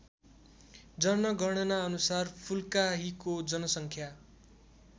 जनगणनाअनुसार फुल्काहीको जनसङ्ख्या